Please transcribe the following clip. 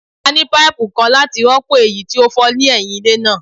A ni paipu kan lati rọpo eyi ti o fọ ni ẹhin ile naa